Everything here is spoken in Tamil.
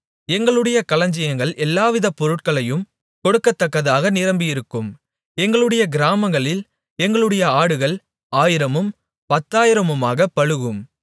எங்களுடைய களஞ்சியங்கள் எல்லாவித பொருட்களையும் கொடுக்கத்தக்கதாக நிரம்பியிருக்கும் எங்களுடைய கிராமங்களில் எங்களுடைய ஆடுகள் ஆயிரமும் பத்தாயிரமாகப் பலுகும்